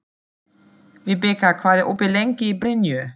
Vibeka, hvað er opið lengi í Brynju?